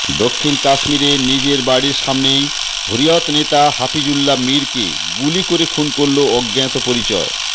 দক্ষিণ কাশ্মীরে নিজের বাড়ির সামনেই হুরিয়ত নেতা হাফিজুল্লা মিরকে গুলি করে খুন করল অজ্ঞাতপরিচয়